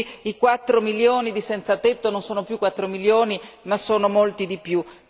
così i 4 milioni di senzatetto non sono più 4 milioni ma sono molti di più!